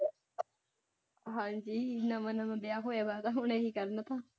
ਹਾਂਜੀ ਨਵਾਂ ਨਵਾਂ ਵਿਆਹ ਹੋਇਆ ਵਾ ਹੁਣੇ ਇਹੀ ਕਰਨਾ ਥਾ।